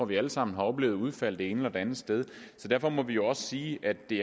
vi alle sammen har oplevet udfald det ene eller det andet sted og derfor må vi jo også sige at det